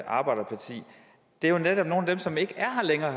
arbejderparti jo netop er nogle af dem som ikke er her længere